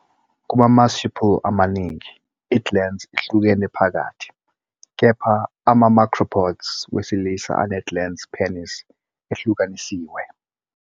Kuma-marsupial amaningi, i-glans ihlukene phakathi, kepha ama- macropods wesilisa ane-glans penis ehlukanisiwe.